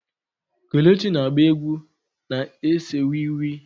Kelechi na-agba egwu na-ese wii wii.